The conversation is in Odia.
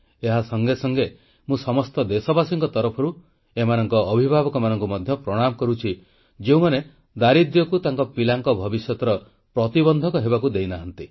ଏହା ସଙ୍ଗେ ସଙ୍ଗେ ମୁଁ ସମସ୍ତ ଦେଶବାସୀଙ୍କ ତରଫରୁ ଏମାନଙ୍କ ଅଭିଭାବକମାନଙ୍କୁ ମଧ୍ୟ ପ୍ରଣାମ କରୁଛି ଯେଉଁମାନେ ଦାରିଦ୍ର୍ୟକୁ ତାଙ୍କ ପିଲାଙ୍କ ଭବିଷ୍ୟତର ପ୍ରତିବନ୍ଧକ ହେବାକୁ ଦେଇନାହାନ୍ତି